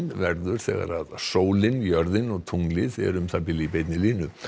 verður þegar sólin jörðin og tunglið eru um það í beinni línu